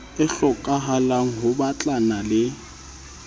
e hlokahalang ho batlana le